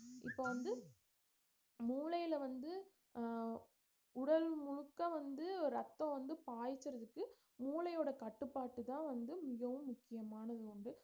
இப்ப வந்து மூளைல வந்து அஹ் உடல் முழுக்க வந்து ரத்தம் வந்து பாய்ச்சறதுக்கு மூளையோட கட்டுப்பாடுதான் வந்து மகவும் முக்கியமானது ஒன்று